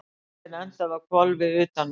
Bíllinn endaði á hvolfi utan vegar